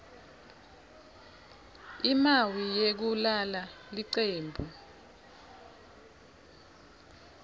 imawi yekulala licembu